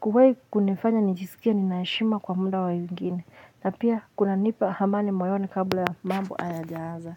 kuwahi kunifanya nijisikie nina heshima kwa muda wa wengine na pia kunanipa amani moyoni kabla ya mambo hayajaanza.